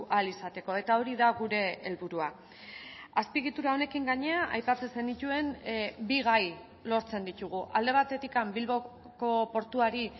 ahal izateko eta hori da gure helburua azpiegitura honekin gainera aipatzen zenituen bi gai lortzen ditugu alde batetik bilboko portuari